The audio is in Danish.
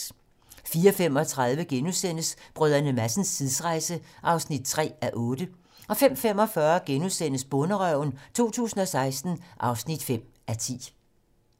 04:35: Brdr. Madsens tidsrejse (3:8)* 05:45: Bonderøven 2016 (5:10)*